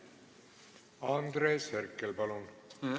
Andres Herkel, palun!